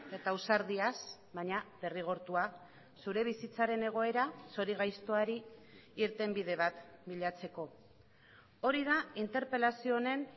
eta ausardiaz baina derrigortua zure bizitzaren egoera zorigaiztoari irtenbide bat bilatzeko hori da interpelazio honen